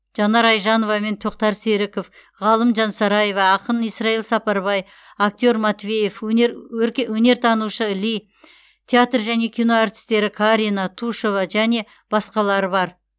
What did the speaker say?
жанар айжанова мен тоқтар серіков ғалым жансараева ақын исрайл сапарбай актер матвеев өнер өнертанушы ли театр және кино әртістері карина тушева және басқалары бар